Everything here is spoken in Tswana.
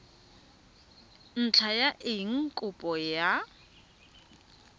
ntlha ya eng kopo ya